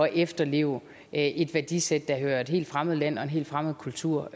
efterleve et værdisæt der hører et helt fremmed land og en helt fremmed kultur